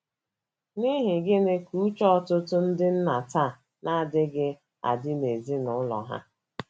N’ihi gịnị ka uche ọtụtụ ndị nna taa na - ejighị adị n’ezinụlọ ha?